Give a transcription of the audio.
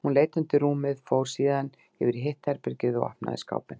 Hún leit undir rúmið, fór síðan yfir í hitt herbergið og opnaði skápinn.